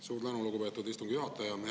Suur tänu, lugupeetud istungi juhataja!